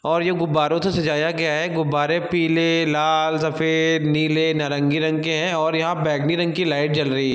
और ये गुब्बरे से सजाया गया है। गुब्बारे पीले लाल सफेद नीले नारंगी रंग के हैं और यहां बैगनी रंग की लाइट जल रही --